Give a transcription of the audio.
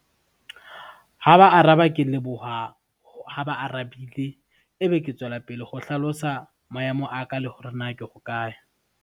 Ha ba araba ke leboha, ha ba arabile e be ke tswela pele ho hlalosa maemo a ka le hore na ke hokae.